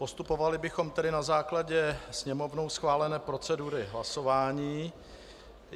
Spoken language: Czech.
Postupovali bychom tedy na základě Sněmovnou schválené procedury hlasování.